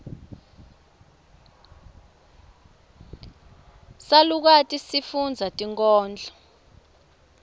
salukati sifundza tinkhondlo